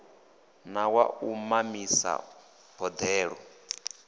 na wa u mamisa boḓelo